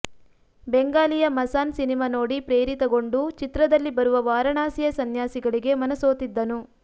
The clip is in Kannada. ಬೆಂಗಾಲಿಯ ಮಸಾನ್ ಸಿನಿಮಾ ನೋಡಿ ಪ್ರೇರಿತಗೊಂಡು ಚಿತ್ರದಲ್ಲಿ ಬರುವ ವಾರಣಾಸಿಯ ಸನ್ಯಾಸಿಗಳಿಗೆ ಮನಸೋತಿದ್ದನು